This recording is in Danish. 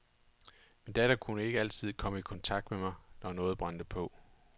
Min datter kunne altid komme i kontakt med mig, når noget brændte på.